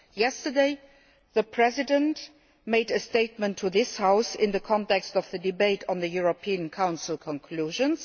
Yesterday, the President made a statement to this House in the context of the debate on the European Council conclusions.